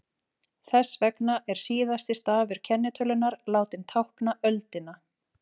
þess vegna er síðasti stafur kennitölunnar látinn tákna öldina